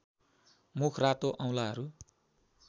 मुख रातो औंलाहरू